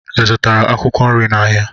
Ị zụtara akwụkwọ nri n'ahịa?